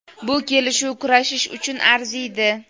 Bu kelishuv kurashish uchun arziydi.